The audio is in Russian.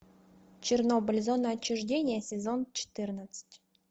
чернобыль зона отчуждения сезон четырнадцать